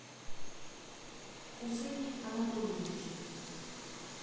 хусене анатольевиче